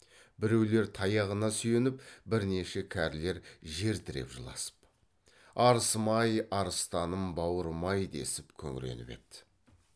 біреулер таяғына сүйеніп бірнеше кәрілер жер тіреп жыласып арысым ай арыстаным бауырым ай десіп күңіреніп еді